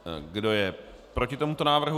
Kdo je proti tomuto návrhu?